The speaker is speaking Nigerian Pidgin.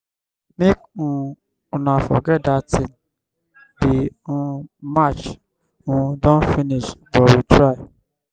make um una forget dat thingthe um match um don finish but we try.